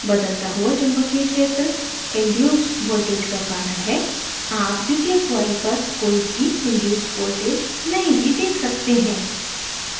बदलता हुआ चुम्बकीय क्षेत्र induced voltage का कारण है आप द्वितीयक coil पर कोई भी induced voltage नहीं भी देख सकते हैं